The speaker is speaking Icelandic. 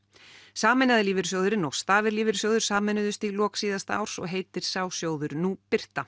sameinaði lífeyrissjóðurinn og stafir lífeyrissjóður sameinuðust í lok síðasta árs og heitir sá sjóður nú Birta